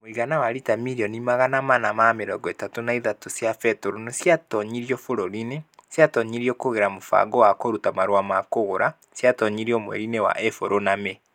Mũigana wa liita mirioni magana mana na mĩrongo ĩtatũ na ithatũ cia betũrũ nĩ ciatonyirio bũrũri-inĩ . Ciatonyirĩ kũgerera mũbango wa kũruta marũa ma kũgũra . Ciatonyirio mweri-inĩ wa Ĩpuro na Mĩĩ.